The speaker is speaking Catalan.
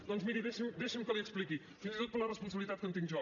doncs miri deixi’m que l’hi expliqui fins i tot per la responsabilitat que en tinc jo